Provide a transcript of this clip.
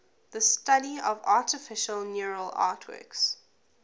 the study of artificial neural networks